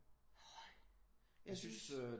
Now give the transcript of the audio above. Hold jeg synes